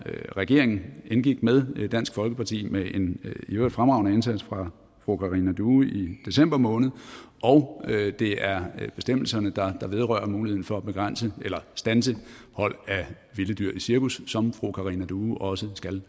regeringen indgik med dansk folkeparti med en i øvrigt fremragende indsats fra fru karina due i december måned og det er bestemmelserne der vedrører muligheden for at begrænse eller standse hold af vilde dyr i cirkus som fru karina due også skal